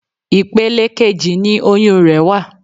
Ipele kejì ni oyún rẹ̀ wà.